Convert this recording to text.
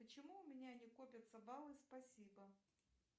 почему у меня не копятся баллы спасибо